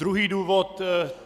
Druhý důvod.